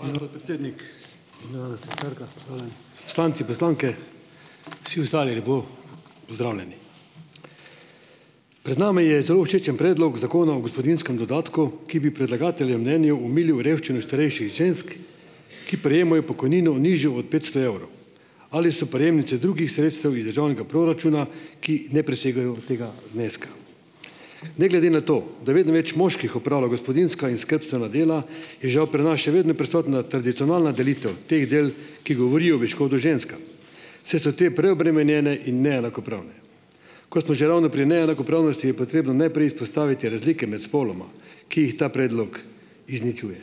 Hvala, podpredsednik. Poslanci, poslanke, vsi ostali, lepo pozdravljeni! Pred nami je zelo všečen predlog Zakona o gospodinjskem dodatku, ki bi predlagateljem mnenju omilil revščino starejših žensk, ki prejemajo pokojnino nižjo od petsto evrov ali so prejemnice drugih sredstev iz državnega proračuna, ki ne presegajo tega zneska. Ne glede na to, da vedno več moških opravlja gospodinjska in skrbstvena dela, je žal pri nas še vedno prisotna tradicionalna delitev teh del, ki govorijo v škodo ženskam. Saj so te preobremenjene in neenakopravne. Ko smo že ravno pri neenakopravnosti, je potrebno najprej izpostaviti razlike med spoloma, ki jih ta predlog izničuje.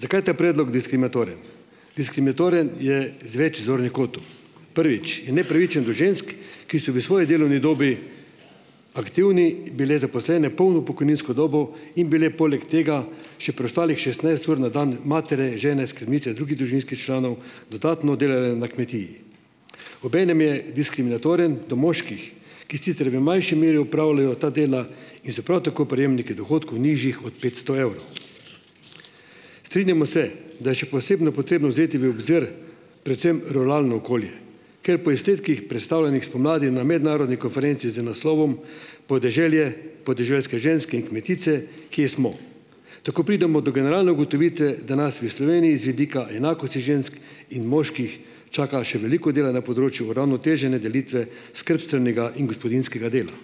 Zakaj je ta predlog diskriminatoren? Diskriminatoren je z več zornih kotov. Prvič je nepravičen do žensk, ki so v svoji delovni dobi aktivni, bile zaposlene polno pokojninsko dobo in bile poleg tega še preostalih šestnajst ur na dan matere, žene, skrbnice drugih družinskih članov, dodatno delale na kmetiji. Obenem je diskriminatoren do moških, ki sicer v manjši miri opravljajo ta dela in so prav tako prejemniki dohodkov, nižjih od petsto evrov. Strinjamo se, da je še posebno potrebno vzeti v obzir predvsem ruralno okolje, kjer po izsledkih, predstavljenih spomladi na mednarodni konferenci z naslovom Podeželje, podeželske ženske in kmetice, kje smo. Tako pridemo do generalne ugotovitve, da nas v Sloveniji z vidika enakosti žensk in moških čaka še veliko dela na področju uravnotežene delitve skrbstvenega in gospodinjskega dela.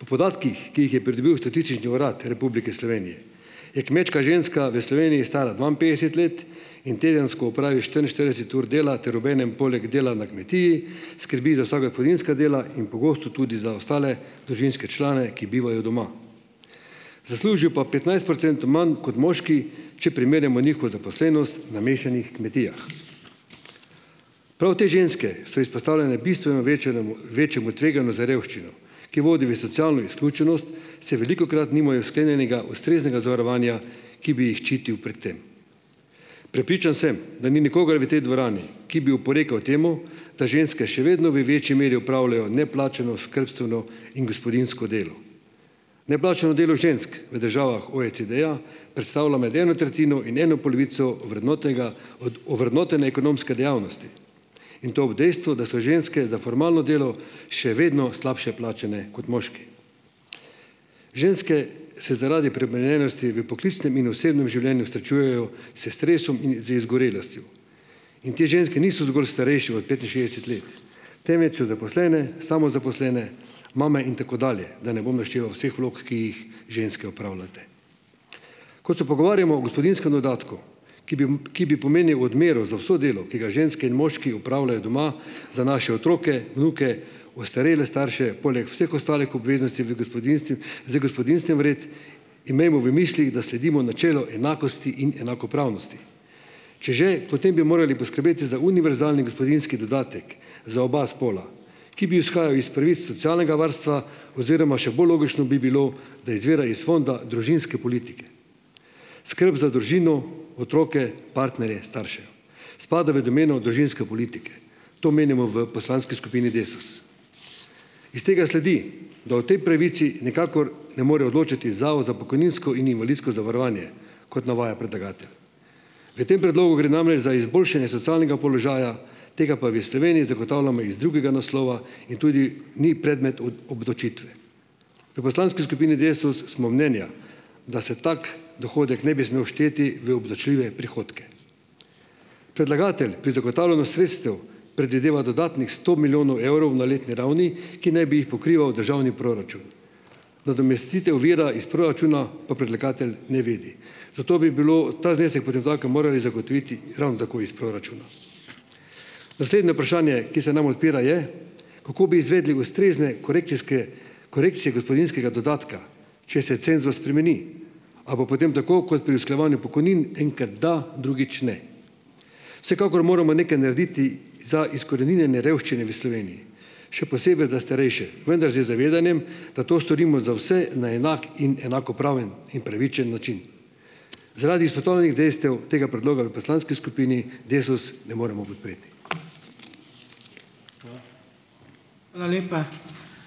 Po podatkih, ki jih je pridobil Statistični urad Republike Slovenije je kmečka ženska v Sloveniji stara dvainpetdeset let in tedensko opravi štiriinštirideset ur dela ter obenem poleg dela na kmetiji skrbi za vsa gospodinjska dela in pogosto tudi za ostale družinske člane, ki bivajo doma. Zaslužijo pa petnajst procentov manj kot moški, če primerjamo njihovo zaposlenost na mešanih kmetijah. Prav te ženske so izpostavljene bistveno večjenemu, večjemu tveganju za revščino, ki vodi v socialno izključenost, saj velikokrat nimajo sklenjenega ustreznega zavarovanja, ki bi jih ščitil pred tem. Prepričan sem, da ni nikogar v tej dvorani, ki bi oporekal temu, da ženske še vedno v večji meri opravljajo neplačano, skrbstveno in gospodinjsko delo. Neplačano delo žensk v državah OECD-ja predstavlja med eno tretjino in eno polovico ovrednotenega, od ovrednotene ekonomske dejavnosti in to ob dejstvu, da so ženske za formalno delo še vedno slabše plačane kot moški. Ženske se zaradi preobremenjenosti v poklicnem in osebnem življenju srečujejo s stresom in iz z izgorelostjo in te ženske niso zgolj starejše od petinšestdeset let, temveč so zaposlene, samozaposlene, mame in tako dalje, da ne bom našteval vseh vlog, ki jih ženske opravljate. Ko se pogovarjamo o gospodinjskem dodatku, ki bi ki bi pomenil odmero za vse delo, ki ga ženske in moški opravljajo doma za naše otroke, vnuke, ostarele starše, poleg vseh ostalih obveznosti, v gospodinjstvu, z gospodinjstvom vred, imejmo v mislih, da sledimo načelo enakosti in enakopravnosti. Če že, potem bi morali poskrbeti za univerzalni gospodinjski dodatek za oba spola, ki bi izhajal iz pravic socialnega varstva oziroma še bolj logično bi bilo, da izvira iz fonda družinske politike. Skrb za družino, otroke, partnerje, starše spada v domeno družinske politike. To menimo v poslanski skupini Desus. Iz tega sledi, da o tej pravici nikakor ne more odločati Zavod za pokojninsko in invalidsko zavarovanje, kot navaja predlagatelj. V tem predlogu gre namreč za izboljšanje socialnega položaja, tega pa vi Sloveniji zagotavljamo iz drugega naslova in tudi ni predmet od obdavčitve. V poslanski skupini Desus smo mnenja, da se tako dohodek ne bi smel šteti v obdavčljive prihodke. Predlagatelj pri zagotavljanju sredstev predvideva dodatnih sto milijonov evrov na letni ravni, ki naj bi jih pokrival državni proračun. Nadomestitev vira iz proračuna pa predlagatelj ne vidi, zato bi bilo ta znesek potemtakem morali zagotoviti ravno tako iz proračuna. Naslednje vprašanje, ki se nam odpira, je, kako bi izvedli ustrezne korekcijske korekcije gospodinjskega dodatka, če se cenzus spremeni? A bo potem tako kot pri usklajevanju pokojnin, enkrat da, drugič ne. Vsekakor moramo nekaj narediti za izkoreninjenje revščine v Sloveniji, še posebej za starejše, vendar zdaj zavedanjem, da to storimo za vse na enak in enakopraven in pravičen način. Zaradi izpostavljenih dejstev tega predloga v poslanski skupini Desus ne moremo podpreti.